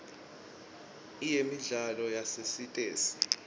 iyemidlalo yasesitesi